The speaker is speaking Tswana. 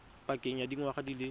pakeng ya dingwaga di le